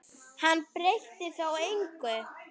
Hann breytti þó engu.